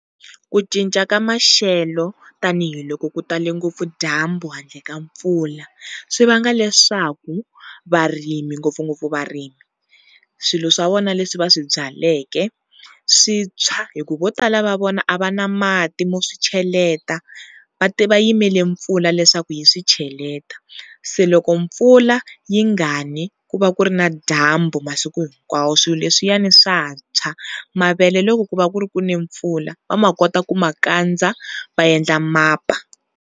Ku cinca ka maxelo tanihiloko ku tala ngopfu dyambu handle ka mpfula swi vanga leswaku varimi ngopfungopfu varimi swilo swa vona leswi va swi byalaka swi tshwa hi ku vo tala va vona a va na mati mo swi cheleta va yimele mpfula leswaku yi swi cheleta. Se loko mpfula yi nga ni ku va ku ri na dyambu masiku hinkwawo swilo leswiyani swa tshwa, mavele loko ku va ku ri ku ne mpfula va ma kota ku ma kandza va endla mapa.